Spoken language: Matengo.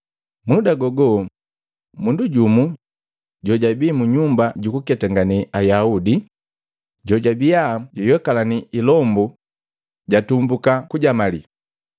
Muda gogo, mundu jumu jojabii munyumba jukuketangane Ayaudi, jojabia juyokalanii ilombu jatumbuka kujamalii.